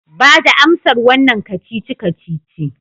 Bada amsar wannan kacici-kacici